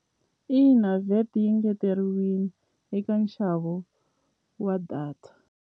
Ina VAT yi ngeteriwini eka nxavo wa data.